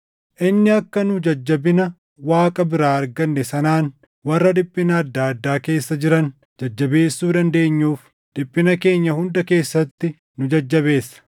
inni akka nu jajjabina Waaqa biraa arganne sanaan warra dhiphina adda addaa keessa jiran jajjabeessuu dandeenyuuf dhiphina keenya hunda keessatti nu jajjabeessa.